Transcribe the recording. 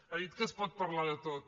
ha dit que es pot parlar de tot